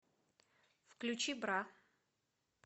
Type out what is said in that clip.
включи бра